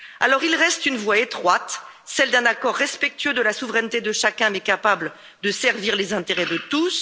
Alors il reste une voie étroite, celle d'un accord respectueux de la souveraineté de chacun mais capable de servir les intérêts de tous.